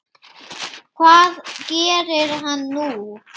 Hvað gerir hann nú?